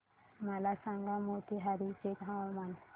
मला सांगा मोतीहारी चे हवामान